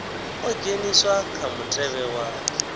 ḓo dzheniswa kha mutevhe wa